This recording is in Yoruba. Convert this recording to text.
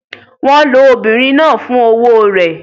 Wọ́n lo obìnrin náà fún owó rẹ̀?